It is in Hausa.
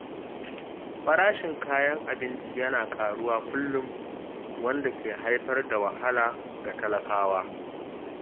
Farashin kayan abinci yana ƙaruwa kullum, wanda ke haifar da wahala ga talakawa.